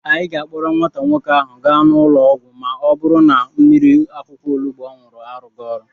Anyị ga-akpọrọ nwata nwoke ahụ gaa ụlọ ọgwụ ma ọ bụrụ na mmiri akwukwọ onubu ọ ṅụrụ arụghị ọrụ.